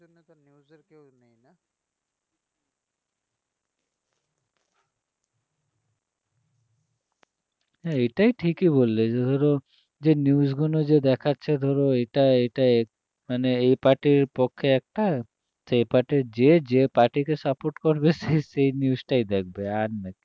এইটাই ঠিকই বললে যে ধরো যে news গুলো যে দেখাচ্ছে ধরো এটা এটা মানে এই party র পক্ষে একটা এই party যে যে party কে support সে সেই news টাই দেখবে আর না~